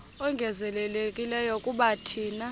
ongezelelekileyo kuba thina